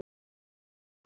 Hún var horfin.